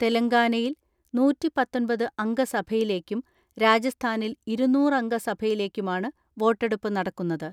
തെലങ്കാനയിൽ നൂറ്റിപത്തൊൻപത് അംഗ സഭയിലേക്കും രാജസ്ഥാനിൽ ഇരുന്നൂറ് അംഗ സഭയിലേക്കുമാണ് വോട്ടെടുപ്പ് നടക്കുന്നത്.